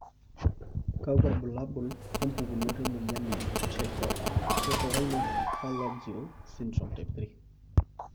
kakwa ilbulabul opukunoto emoyian eTrichorhinophalangeal syndrome type 3?